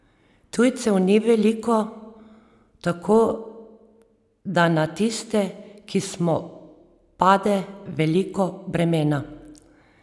Tujcev ni veliko, tako da na tiste, ki smo, pade veliko bremena.